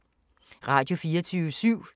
Radio24syv